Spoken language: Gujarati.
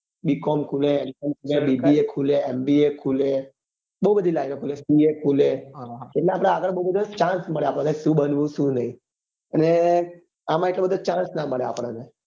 હ b com ખુલે m com ખુલે bba ખુલે mba ખુલે બઉ બધી line ઓ ખુલે ba ખુલે એટલે આપડે બઉ બધો chance મળે આપડે શું બનવું શું નહિ અને આમાં એટલો બધો chance નાં મળે આપડો ને